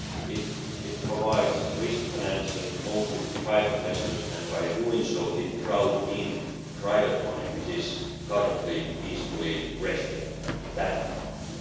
It provides risk financing mostly to private investors and by doing so it crowds in private money, which is currently peacefully resting in bank accounts.